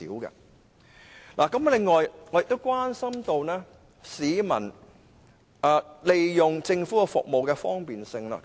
此外，我亦關注市民使用政府服務的方便程度。